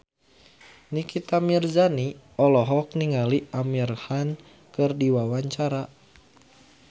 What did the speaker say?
Nikita Mirzani olohok ningali Amir Khan keur diwawancara